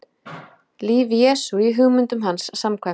líf jesú í hugmyndum hans samkvæmt